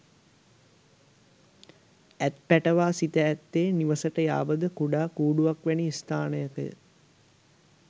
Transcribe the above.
ඇත් පැටවා සිට ඇත්තේ නිවසට යාබද කුඩා කූඩුවක් වැනි ස්ථානයක ය.